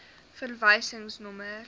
verwysingsnommer